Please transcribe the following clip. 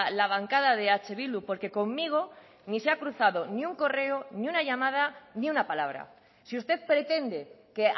la bancada de eh bildu porque conmigo ni se ha cruzado ni un correo ni una llamada ni una palabra si usted pretende que